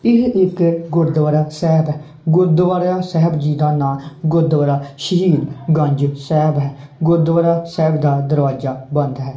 ਇਹ ਇੱਕ ਗੁਰੂਦਵਾਰਾ ਸਾਹਿਬ ਹੈ ਗੁਰੂਦਵਾਰੇਆ ਸਾਹਿਬ ਜੀ ਦਾ ਨਾਮ ਗੁਰੂਦਵਾਰਾ ਸ਼ਹੀਦ ਗੰਜ ਸਾਹਿਬ ਹੈ ਗੁਰੂਦਵਾਰਾ ਸਾਹਿਬ ਦਾ ਦਰਵਾਜਾ ਬੰਦ ਹੈ।